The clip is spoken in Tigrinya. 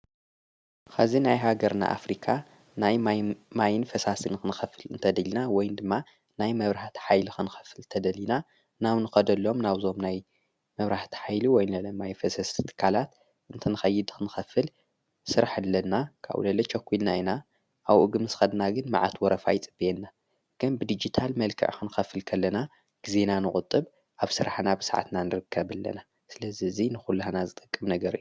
ኸዚ ናይ ሃገርና ኣፍሪካ ናይ ማይን ፈሳስን ኽንኸፍል እንተደልና ወይን ድማ ናይ መብራህቲ ኃይሊ ኽንክፍል ተደሊና ናው ንኸደሎም ናውዞም ናይ መብራህቲ ኃይሊ ወይን ለኣይ ፈሰስትካላት እንተንኸይድ ኽንኸፍል ሥራሕ ለና ካው ለለች ኣኮኢልና ኢና ኣውእግም ስ ኸድና ግን መዓት ወረፋይ ጽበየና ገን ብዲጅታል መልከዕ ኽንከፍልከለና ጊዜና ንቝጥብ ኣብ ሥራሕና ብሰዓትና ንርከብ ኣለና ስለዝ እዙይ ንዂልህና ዝጠቅም ነገር እዩ።